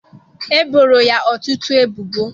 E boro ya ọtụtụ ebubo.